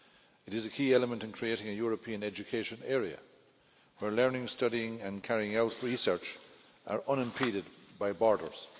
It is a key element in creating a European education area, where learning, studying and carrying out research are unimpeded by borders.